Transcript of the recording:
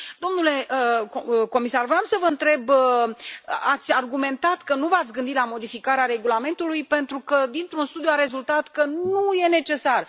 Domnule comisar, voiam să vă întreb ați argumentat că nu v ați gândit la modificarea regulamentului pentru că dintr un studiu a rezultat că nu e necesar.